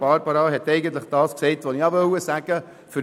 Barbara Mühlheim hat eigentlich das gesagt, was ich sagen wollte.